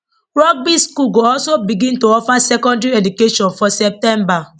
rugby school go also begin to offer secondary education for september